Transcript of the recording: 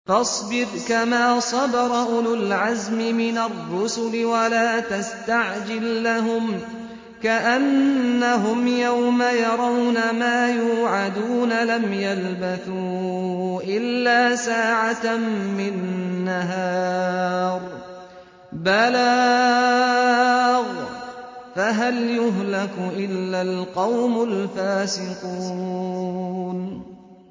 فَاصْبِرْ كَمَا صَبَرَ أُولُو الْعَزْمِ مِنَ الرُّسُلِ وَلَا تَسْتَعْجِل لَّهُمْ ۚ كَأَنَّهُمْ يَوْمَ يَرَوْنَ مَا يُوعَدُونَ لَمْ يَلْبَثُوا إِلَّا سَاعَةً مِّن نَّهَارٍ ۚ بَلَاغٌ ۚ فَهَلْ يُهْلَكُ إِلَّا الْقَوْمُ الْفَاسِقُونَ